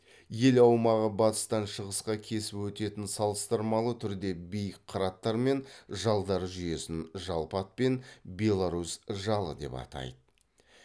ел аумағы батыстан шығысқа кесіп өтетін салыстырмалы түрде биік қыраттар мен жалдар жүйесін жалпы атпен беларусь жалы деп атайды